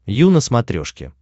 ю на смотрешке